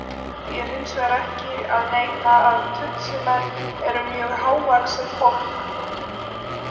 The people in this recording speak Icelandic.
Því er hins vegar ekki að neita að Tutsimenn eru mjög hávaxið fólk.